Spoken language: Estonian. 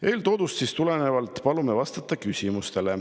Eeltoodust tulenevalt palume teil vastata küsimustele.